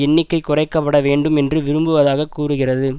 எண்ணிக்கை குறைக்க பட வேண்டும் என்று விரும்புவதாக கூறுகிறது